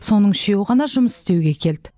соның үшеуі ғана жұмыс істеуге келді